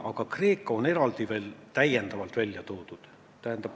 Aga Kreeka on eraldi veel täiendavalt välja toodud.